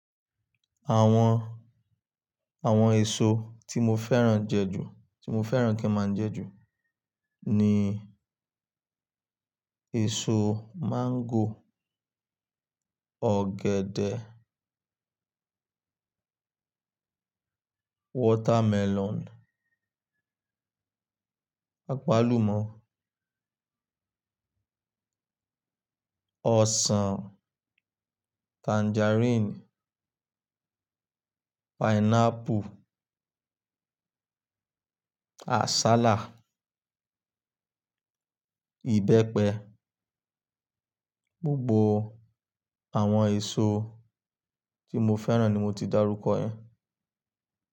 Àwọn, àwọn èso tí mo fẹ́ran jẹ ju, tí mo fẹ́ran kí a máá jẹ ju ni èso máńgò, ọ̀gẹ̀dẹ̀, watermelon, àpálumọ́, ọsàn, tangerine, pineapple, àsálà, ìbẹ́pẹ. Gbogbo àwọn èso tí mo fẹ́ran ni mo ti dárúkọ ẹ.